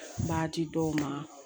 B'a di dɔw ma